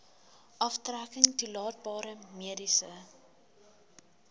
aftrekking toelaatbare mediese